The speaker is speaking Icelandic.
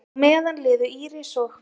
Á meðan liðu Íris og